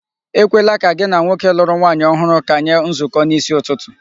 Ekwela ka gị na nwoke lụrụ nwaanyị ohụrụ kanye nzukọ n'isi ụtụtụ.